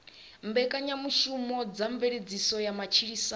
mbekanyamushumo dza mveledziso ya matshilisano